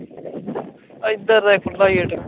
ਐਦਰ ਰਹਿ ਖੁਲ੍ਹਾ ਈ ਗੇਟ